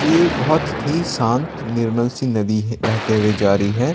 ये बहुत ही शांत निर्मल सी नदी है बहते हुए जा रही है।